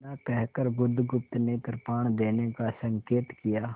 इतना कहकर बुधगुप्त ने कृपाण देने का संकेत किया